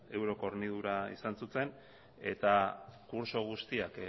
euroko hornidura izan zuten eta kurtso guztiak